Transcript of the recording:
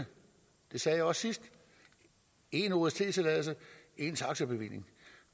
det sagde jeg også sidst én ost tilladelse én taxabevilling